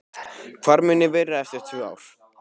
Hvar mun ég vera eftir tvö ár?